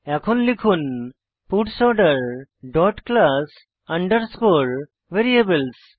এখন লিখুন parts order dot class underscore variables